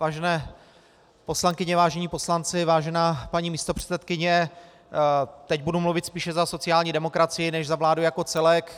Vážené poslankyně, vážení poslanci, vážená paní místopředsedkyně, teď budu mluvit spíše za sociální demokracii než za vládu jako celek.